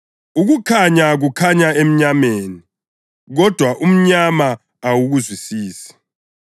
Ukukhanya kukhanya emnyameni, kodwa umnyama awukakuzwisisi.